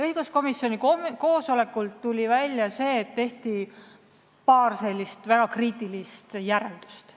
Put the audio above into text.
Õiguskomisjoni koosolekul tuli välja, et tehti paar väga kriitilist järeldust.